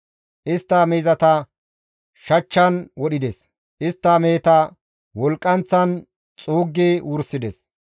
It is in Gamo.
Istta miizata shachchan wodhides; istta meheta wolqqanththan xuuggi wursides.